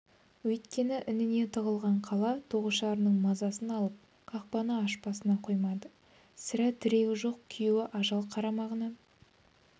өйткені ініне тығылған қала тоғышарының мазасын алып қақпаны ашпасына қоймайды сірә тірегі жоқ күйеуі ажал қармағына